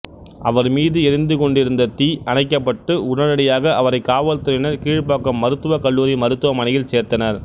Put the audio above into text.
அவர்மீது எரிந்துக் கொண்டிருந்த தீ அணைக்கப்பட்டு உடனடியாக அவரைக் காவல்துறையினர் கீழ்ப்பாக்கம் மருத்துவக் கல்லூரி மருத்துவமனையில் சேர்த்தனர்